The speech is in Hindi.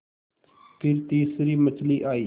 फिर तीसरी मछली आई